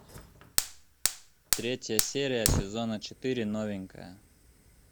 третья серия сезона четыре новенькая